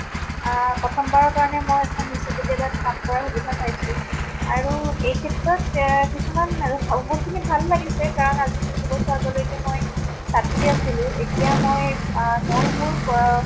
আহ প্ৰথম বাৰ ইয়াত কাম কৰাৰ সুবিধা পাইছো। আৰু এই ক্ষেত্ৰত এহ কিছুমান খিনি ভাল লাগিছে, কাৰণ আজি কিছু বছৰ আগলৈকে মই ছাত্ৰী আছিলো। এতিয়া মই আহ মই মোৰ প